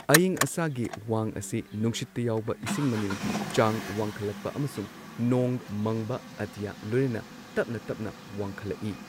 ꯑꯌꯤꯡ ꯑꯁꯥꯒꯤ ꯋꯥꯡ ꯑꯁꯤ ꯅꯨꯡꯁꯤꯠꯇ ꯌꯥꯎꯕ ꯏꯁꯤꯡ ꯃꯅꯤꯜꯒꯤ ꯆꯥꯡ ꯋꯥꯡꯈꯠꯂꯛꯄ ꯑꯃꯁꯨꯡ ꯅꯣꯡ ꯃꯪꯕ ꯑꯇꯤꯌꯥ ꯂꯣꯏꯅꯅ ꯇꯞꯅ ꯇꯞꯅ ꯋꯥꯡꯈꯠꯂꯛꯏ꯫